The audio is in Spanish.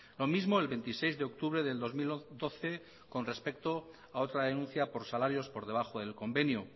lo mismo el veintiséis de octubre del dos mil doce con respecto a otra denuncia por salarios por debajo del convenio